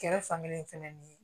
Kɛrɛ fan kelen fɛnɛ ni